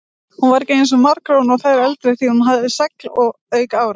Hún var ekki eins margróin og þær eldri því hún hafði segl auk ára.